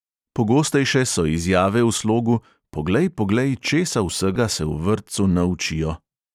Pogostejše so izjave v slogu "poglej, poglej, česa vsega se v vrtcu naučijo ..."